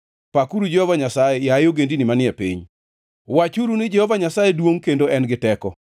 Pakuru Jehova Nyasaye, yaye ogendini manie piny, wachuru ni Jehova Nyasaye duongʼ kendo en gi teko.